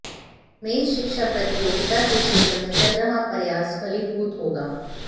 मेषः शिक्षा प्रतियोगिता के क्षेत्र में चल रहा प्रयास फलीभूत होगा